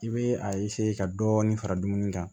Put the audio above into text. I bɛ a ka dɔɔnin fara dumuni kan